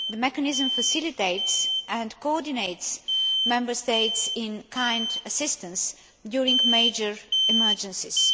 The mechanism facilitates and coordinates Member States' in kind assistance during major emergencies.